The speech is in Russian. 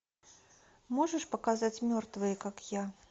можешь показать мертвые как я